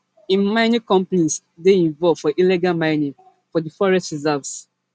im mining companies dey involve for illegal mining for di forest reserves